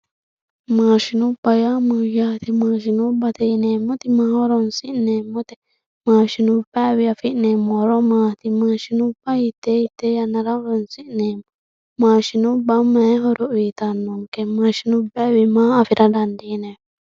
Maashinubba yaa mayate, maashinubbatte yineemoti maaho horonsi'neemote, maashinubbawiyi afi'nemo horo maati maadhinubba hitee hitee yanara horonsi'neemo, maashinubba mayi horo uuyitano'nke, mashinubbayiwi maa afira dandineemo